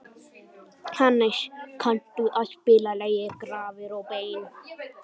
Hannes, kanntu að spila lagið „Grafir og bein“?